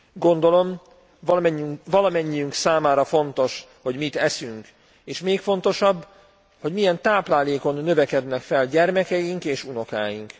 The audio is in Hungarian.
Gondolom valamennyiünk számára fontos, hogy mit eszünk, és még fontosabb hogy milyen táplálékon növekednek fel gyermekeink és unokáink.